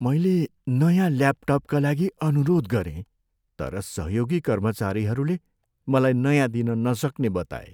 मैले नयाँ ल्यापटपका लागि अनुरोध गरेँ तर सहयोगी कर्मचारीहरूले मलाई नयाँ दिन नसक्ने बताए।